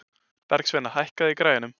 Bergsveina, hækkaðu í græjunum.